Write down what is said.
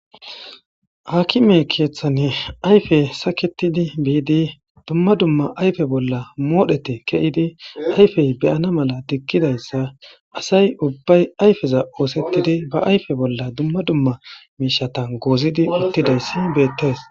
hakime keeththanne ayfe saketidi biidi dumma dumma ayfe bolla moodhete keyidi ayfey beyana mala tikkidayssa asay ubbay ayfeza oosettidi ba ayfe bolla dumma dumma miishatan goozidi uttidayssi beettees